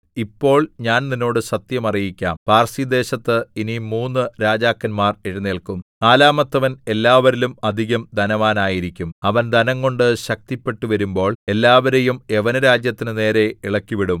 ഇപ്പോൾ ഞാൻ നിന്നോട് സത്യം അറിയിക്കാം പാർസിദേശത്ത് ഇനി മൂന്നു രാജാക്കന്മാർ എഴുന്നേല്ക്കും നാലാമത്തവൻ എല്ലാവരിലും അധികം ധനവാനായിരിക്കും അവൻ ധനംകൊണ്ട് ശക്തിപ്പെട്ടുവരുമ്പോൾ എല്ലാവരെയും യവനരാജ്യത്തിന് നേരെ ഇളക്കിവിടും